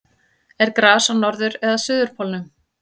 er gras á norður eða suðurpólnum